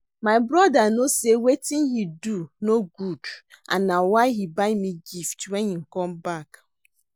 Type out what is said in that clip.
My brother no say wetin he do no good and na why he buy me gift wen he come back